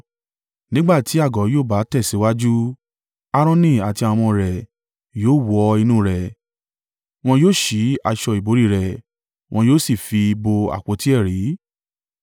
Nígbà tí àgọ́ yóò bá tẹ̀síwájú, Aaroni àti àwọn ọmọ rẹ̀ yóò wọ inú rẹ̀, wọn yóò sí aṣọ ìbòrí rẹ̀, wọn yóò sì fi bo àpótí ẹ̀rí.